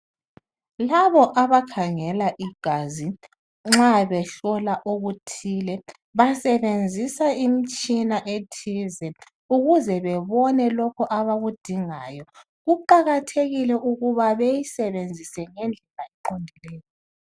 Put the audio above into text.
Labo abakhangela igazi nxa behlola okuthile basebenzisa imitshina ethize ukuze bebone lokho abakudingayo, kuqakathekile ukuthi bayisebenzise ngendlela eqondileyo.